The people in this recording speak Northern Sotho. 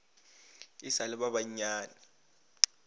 e sa le ba bannyane